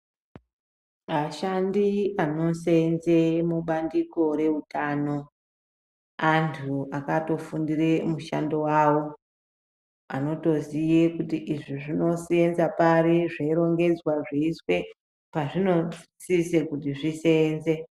Vashandi vanosenza mubandiko reutano antu akatofundire mushando wavo anotoziya kuti izvi zvinosenza pari zveirongedzwa zveyiiswe pazvinosise kuti zvisenze.